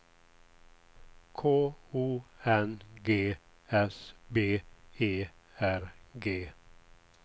K O N G S B E R G